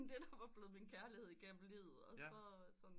Den der var blevet min kærlighed igennem livet og så sådan